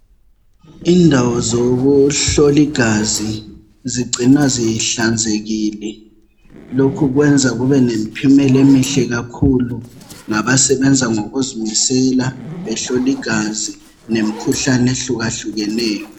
Indawo zokuhlola igazi. Zigcinwa zihlanzekile. Lokhu kwenza kube lemphumela emihle kakhulu. Nabasebenza ngokuzimisela, behloligazi. Nemikhuhlane, ehlukahlukeneyo.